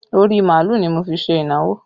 Orí màálù ni mo fi ṣe ìnáwó